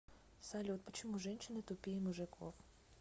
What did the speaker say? салют почему женщины тупее мужиков